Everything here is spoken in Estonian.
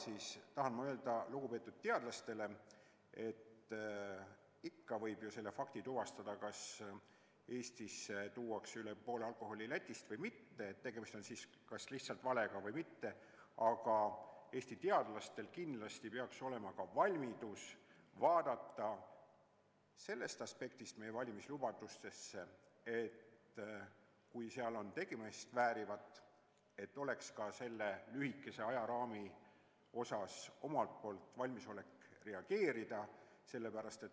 Ma tahan öelda lugupeetud teadlastele, et selle fakti võib ju ikka tuvastada, kas üle poole alkoholist tuuakse Eestisse Lätist või mitte, tegemist on siis kas lihtsalt valega või mitte, aga Eesti teadlastel peaks kindlasti olema ka valmidus vaadata meie valimislubadusi sellest aspektist, et kui nendes on tegemist väärivat, et siis oleks neil ka selle lühikese ajaraami sees omalt poolt valmisolek reageerida.